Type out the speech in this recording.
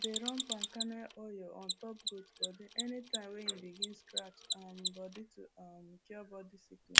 i dey run palm kernel oil on top goat body anytime wey e begin scratch um body to um cure body sickl